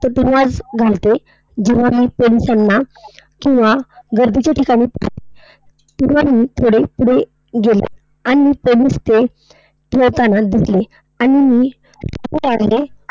तेव्हाच घालते जेव्हा मी पोलिसांना किंवा गर्दीच्या ठिकाण पुढे पुढे गेले. आणि पोलीस ते ते येताना दिसले. आणि मी